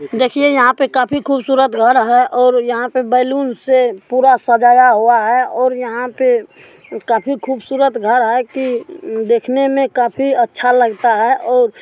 देखिए यहां पे काफी खूबसूरत घर है और यहां पे बैलून से पूरा सजाया हुआ है और यहां पे काफी खूबसूरत घर है कि उम् देखने में काफी अच्छा लगता है और---